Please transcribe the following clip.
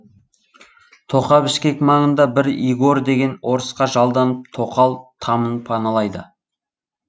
тоқа бішкек маңында бір игорь деген орысқа жалданып тоқал тамын паналайды